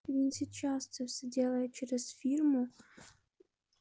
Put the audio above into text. и вот сейчас всё делает через фирму